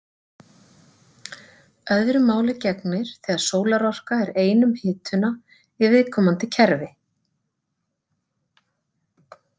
Öðru máli gegnir þegar sólarorka er ein um hituna í viðkomandi kerfi.